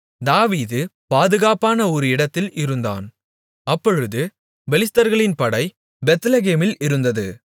தாவீது பாதுகாப்பான ஒரு இடத்தில் இருந்தான் அப்பொழுது பெலிஸ்தர்களின் படை பெத்லெகேமில் இருந்தது